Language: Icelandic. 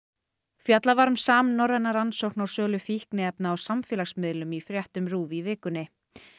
fjallað var um samnorræna rannsókn á sölu fíkniefna á samfélagsmiðlum í fréttum RÚV í vikunni